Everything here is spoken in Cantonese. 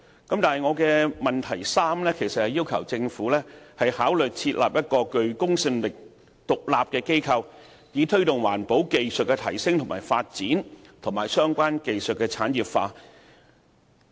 我的質詢第三部分其實是要求政府考慮設立一個具公信力的獨立機構，以推動環保技術的提升和發展，以及相關技術的產業化。